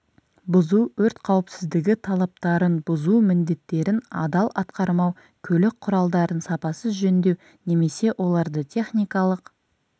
бұзу өрт қауіпсіздігі талаптарын бұзу міндеттерін адал атқармау көлік құралдарын сапасыз жөндеу немесе оларды техникалық